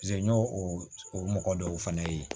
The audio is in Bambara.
n y'o o mɔgɔ dɔw fana ye